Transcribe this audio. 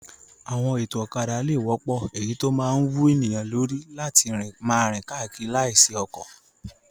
Àwọn ètò ọ̀kadà lè wọ́pọ̀, èyí tó máa wú ènìyàn lórí láti máa rìn káàkiri láìsí ọkọ̀.